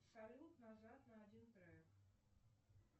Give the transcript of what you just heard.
салют назад на один трек